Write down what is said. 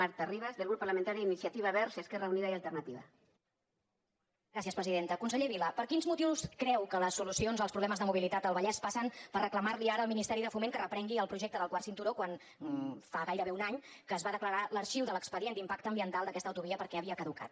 conseller vila per quins motius creu que les solucions als problemes de mobilitat al vallès passen per reclamar li ara al ministeri de foment que reprengui el projecte del quart cinturó quan fa gairebé un any que es va declarar l’arxiu de l’expedient d’impacte ambiental d’aquesta autovia perquè havia caducat